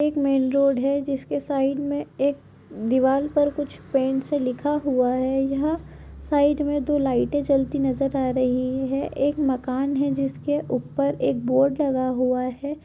एक main road हैं जिसके साइड मे एक दिवाल पर कुछ पेंट से लिखा हुआ हैं यहाँ साइड मे दो लाइटें जलती नज़र आ रही हैं एक मकान हैं जिसके ऊपर एक बोर्ड लगा हुआ हैं।